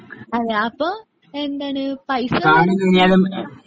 അതെ അപ്പോ എന്താണ് പൈസ